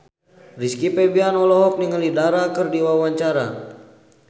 Rizky Febian olohok ningali Dara keur diwawancara